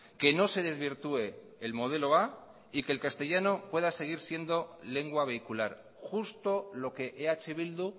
que no se desvirtúe el modelo a y que el castellano pueda seguir siendo lengua vehicular justo lo que eh bildu